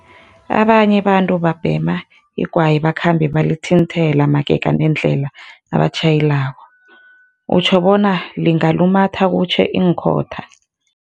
Abanye abantu babhema igwayi bakhambe balithinthela magega nendlela nabatjhayelako, utjho bona lingalumatha kutjhe iinkhotha?